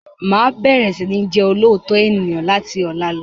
Máa bẹ̀rẹ̀ sini jẹ olóòótọ́ ènìyàn láti ọ̀la lọ